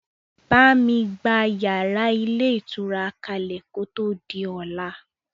Bámi gba yàrá ilé ìtura kalẹ kò tó di ọlá!